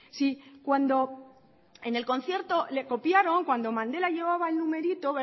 si cuando en el concierto le copiaron cuando mandela llevaba el numerito